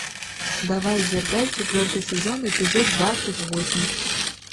давай дерзай четвертый сезон эпизод двадцать восемь